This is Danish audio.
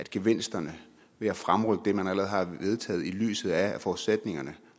gevinster ved at fremrykke det man allerede har vedtaget i lyset af at forudsætningerne